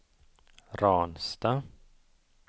Ransta